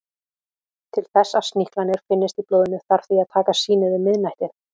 Til þess að sníklarnir finnist í blóðinu þarf því að taka sýnið um miðnætti.